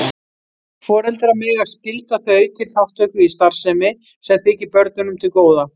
Foreldrar mega skylda þau til þátttöku í starfsemi sem þykir börnunum til góða.